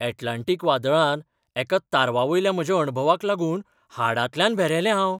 Atlantic वादळांत एका तारवावयल्या म्हज्या अणभवाक लागून हाडांतल्यान भेरेलें हांव.